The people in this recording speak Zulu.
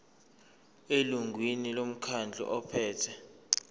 elungwini lomkhandlu ophethe